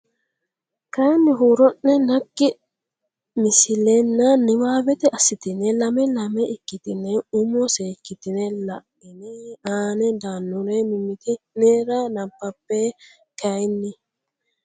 kayinni huuro ne naggi misilenna niwaawete assitine lame lame ikkitine umo seekkitine la ine aane daannore mimmiti nera nabbabbe kayinni.